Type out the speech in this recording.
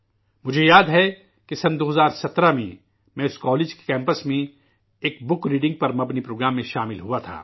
مجھے یاد ہے کہ 2017 میں، میں اس کالج کے کیمپس میں، ایک بُک ریڈنگ پر مبنی پروگرام میں شامل ہوا تھا